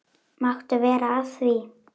Máttu vera að því?